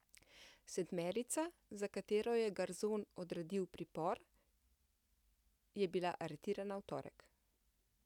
Sedmerica, za katero je Garzon odredil pripor, je bila aretirana v torek.